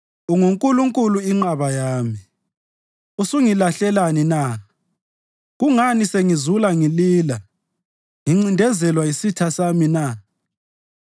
UnguNkulunkulu inqaba yami. Usungilahlelani na? Kungani sengizula ngilila ngincindezelwa yisitha sami na?